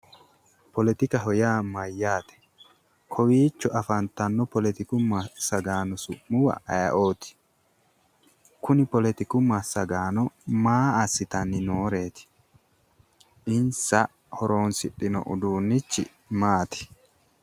Poletikaho yaa mayyaate? Kowiicho afantanno poletiku massagaano su'muwa aye"oti kuni poletiku massagaano maa assitanni nooreeti? Insa horonsidhino uduunnichi maati?